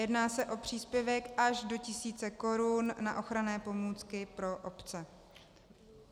Jedná se o příspěvek až do tisíce korun na ochranné pomůcky pro obce.